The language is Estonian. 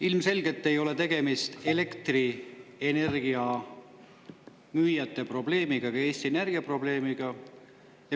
Ilmselgelt ei ole tegemist elektrienergia müüjate probleemiga ega Eesti Energia probleemiga.